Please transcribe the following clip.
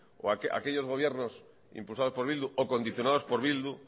o aquellos gobierno impulsado por bildu o condicionados por bildu